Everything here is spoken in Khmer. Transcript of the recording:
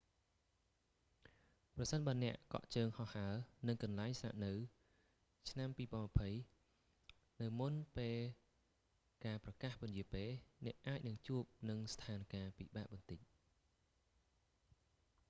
ប្រសិនបើអ្នកកក់ជើងហោះហើរនិងកន្លែងស្នាក់នៅឆ្នាំ 2020 នៅមុនពេលការប្រកាសពន្យារពេល អ្នកអាចនឹងជួបនឹងស្ថានការណ៍ពិបាកបន្តិច